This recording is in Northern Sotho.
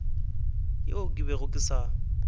yeo ke bego ke sa